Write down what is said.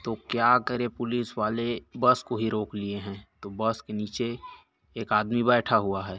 तो क्या करे पुलिस वाले बस को ही रोक लिए है तो बस के नीचे एक आदमी बैठा हुआ है।